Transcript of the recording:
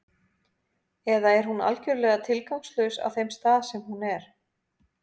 Eða er hún algjörlega tilgangslaus á þeim stað sem hún er?